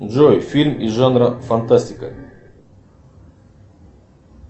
джой фильм из жанра фантастика